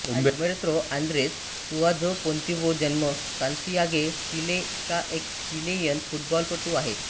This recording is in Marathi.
उंबेर्तो आंद्रेस सुआझो पोंतिव्हो जन्म सान्तियागो चिले हा एक चिलेयन फुटबॉलपटू आहे